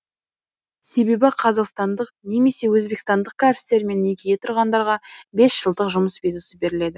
себебі қазақстандық немесе өзбекстандық кәрістермен некеге тұрғандарға бес жылдық жұмыс визасы беріледі